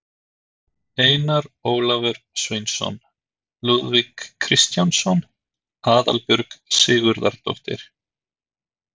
Einar Ólafur Sveinsson, Lúðvík Kristjánsson, Aðalbjörg Sigurðardóttir